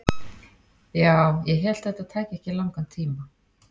Ja, ég hélt þetta tæki ekki langan tíma.